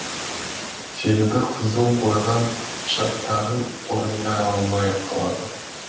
себебі қыздың қойған шарттарын орындай алмай қалады